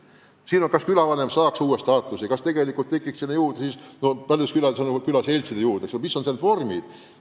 Küsimus on, kas külavanem peaks saama uue staatuse, kas peaks juurde looma, nagu neid paljudes külades on, külaseltse – mis on need parimad vormid.